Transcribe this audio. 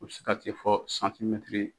O bi se ka se ka se fɔ .